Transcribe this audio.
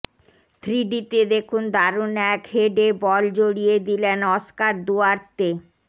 থ্রিডিতে দেখুন দারুণ এক হেডে বল জড়িয়ে দিলেন অস্কার দুয়ার্তে